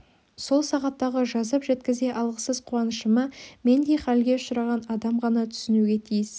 сол сағаттағы жазып жеткізе алғысыз қуанышыма мендей халге ұшыраған адам ғана түсінуге тиіс